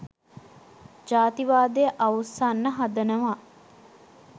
ජාතිවාදය අවුස්සන්න හදනවා.